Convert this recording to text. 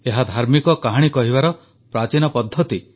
ଏହା ଧାର୍ମିକ କାହାଣୀ କହିବାର ପ୍ରାଚୀନ ପଦ୍ଧତି